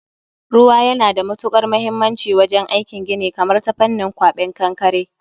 Ruwa yana da matukar muhimmanci wajen aikin gini, kamar ta fannin kwaben kankare